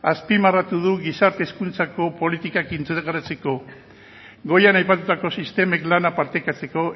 azpimarratu du gizarte hezkuntzako politikak integratzeko goian aipatutako sistemek lana partekatzeko